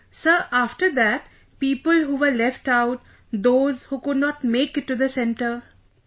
Sir, after that, people who were left out...those who could not make it to the centre...